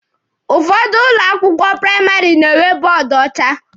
Ụfọdụ ụlọ akwụkwọ praịmarị na-enwe bọọdụ ọcha.